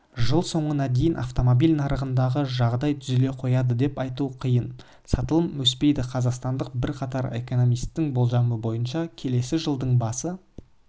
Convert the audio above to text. жыл соңына дейін автомобиль нарығындағы жағдай түзеле қояды деп айту қиын сатылым өспейді қазақстандық бірқатар экономистің болжамы бойынша келісі жылдың басы